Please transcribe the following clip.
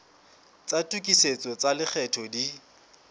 tsa tokisetso tsa lekgetho di